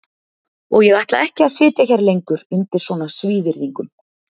Og ég ætla ekki að sitja hér lengur undir svona svívirðingum.